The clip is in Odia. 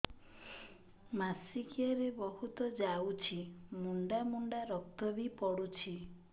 ମାସିକିଆ ରେ ବହୁତ ଯାଉଛି ମୁଣ୍ଡା ମୁଣ୍ଡା ରକ୍ତ ବି ପଡୁଛି